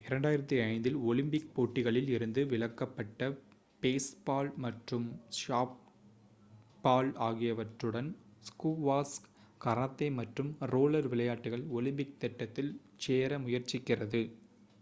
2005 இல் ஒலிம்பிக் போட்டிகளில் இருந்து விலக்கப்பட்ட பேஸ்பால் மற்றும் சாஃப்ட்பால் ஆகியவற்றுடன் ஸ்குவாஷ் கராத்தே மற்றும் ரோலர் விளையாட்டுகள் ஒலிம்பிக் திட்டத்தில் சேர முயற்சிக்கிறது